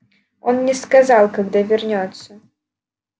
он не сказал когда вернётся